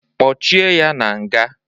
Kpochie ya na nga!